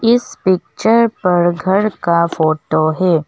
इस पिक्चर पर घर का फोटो है।